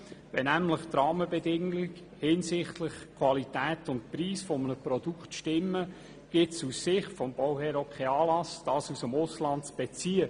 Wenn nämlich die Rahmenbedingungen hinsichtlich Preis und Qualität eines Produkts stimmen, gibt es aus Sicht des Bauherrn auch keinen Anlass, das Material aus dem Ausland zu beziehen.